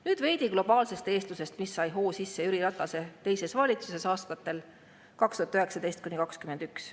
Nüüd veidi globaalsest eestlusest, mis sai hoo sisse Jüri Ratase teise valitsuse ajal aastatel 2019–2021.